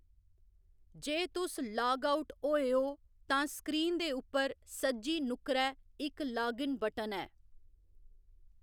जे तुस log out होए हो, तां स्क्रीन दे उप्पर सज्जी नुक्करै इक लागिन बटन ऐ।